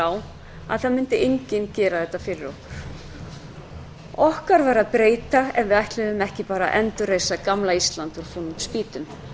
á að enginn mundi gera þetta fyrir okkur okkar var að breyta ef ekki ætti bara að endurreisa gamla ísland úr fúnum spýtum